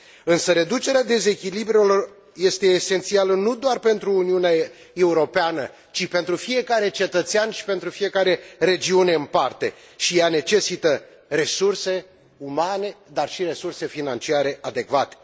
Însă reducerea dezechilibrelor este esențială nu doar pentru Uniunea Europeană, ci pentru fiecare cetățean și pentru fiecare regiune în parte și ea necesită resurse umane, dar și resurse financiare adecvate.